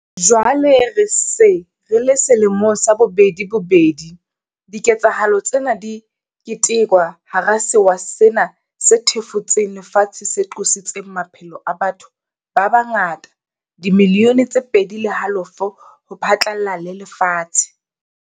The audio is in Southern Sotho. Jwale re se re le selemong sa bobedi bobedi, diketsahalo tsena di ketekwa hara sewa sena se thefutseng lefatshe se qositseng maphelo a batho ba fetang dimilione tse pedi le halofo ho phatlalla le lefatshe.